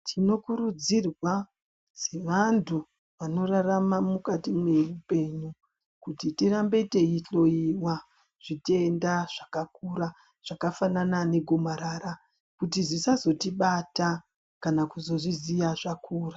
Tinokurudzirwa sevantu vanorarama mukati mweupenyu kuti tirambe teihloiwa zvitenda zvakakura zvakafanana negomarara kuti zvisazotibata kana kuzozviziya zvakura.